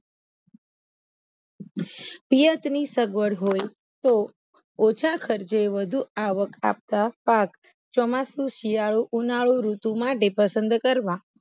પિયત ની સગવડ હોય તો ઓછા ખર્ચે વધુ આવક આપતા પાક ચોમાસું સીયાડું ઉનાળુ ઋતુ માટે પસંદ કરવા